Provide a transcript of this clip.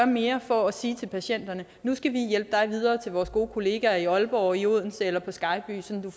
mere for at sige til patienterne nu skal vi hjælpe dig videre til vores gode kollegaer i aalborg i odense eller på skejby sådan